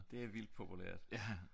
Det er vildt populært